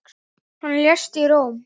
Hann lést í Róm.